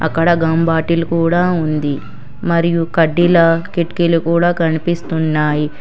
అక్కడ gum bottle కూడా ఉంది మరియు కడ్డీల కిటికీలు కూడా కనిపిస్తున్నాయి.